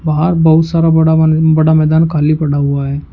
बाहर बहुत सारा बड़ा बड़ा मैदान खाली पड़ा हुआ है।